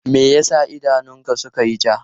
Me ya sa idanunka suka yi ja?